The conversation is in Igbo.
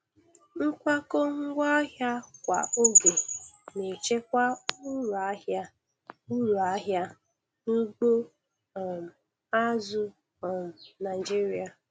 Nkwakọ ngwaahịa kwa oge na-echekwa uru ahịa uru ahịa n'ugbo um azụ̀ um Naịjiria.